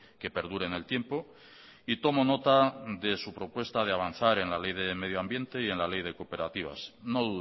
que perdure en el tiempo y tomo nota de su propuesta de avanzar en la ley de medioambiente y en la ley de cooperativas no